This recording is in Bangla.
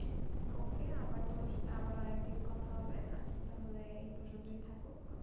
Okay আবার তোমার সাথে আরেকদিন কথা হবে, আজকে তাহলে এই পর্যন্তই থাকুক